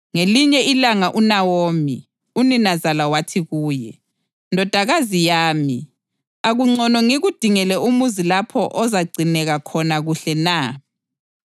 Ngelinye ilanga uNawomi, uninazala wathi kuye, “Ndodakazi yami, akungcono ngikudingele umuzi lapho ozagcineka khona kuhle na?